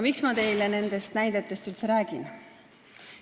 Miks ma teile nendest näidetest üldse räägin?